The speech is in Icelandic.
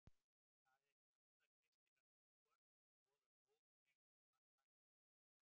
Það er í anda kristinnar trúar sem boðar góð tengsl manna í millum.